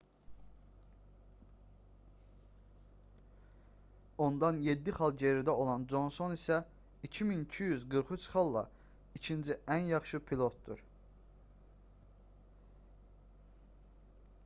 ondan 7 xal geridə olan conson isə 2243 xalla ikinci ən yaxşı pilotdur